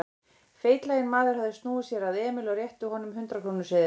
Feitlaginn maður hafði snúið sér að Emil og rétti að honum hundrað-króna seðil.